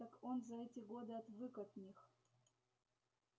так он за эти годы отвык от них